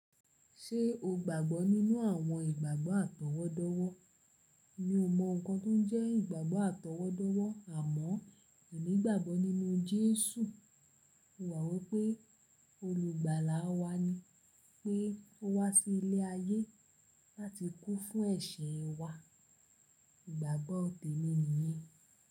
Ṣé o gbàgbọ́ nínú àwọn ìgbàgbọ́ àtọwọ́dọ́wọ́? Mi ò mọ nǹkan tó jẹ́ ìgbàgbọ́ àtọwọ́dọ́wọ́ àmọ́ èmi gbàgbọ́ nínú Jésù. Mo mò wipé Olùgbàlà wa ni pé ó wá sí ilé ayé láti kú fún ẹ̀ṣẹ̀ wa. Ìgbàgbọ́ tèmi nìyi.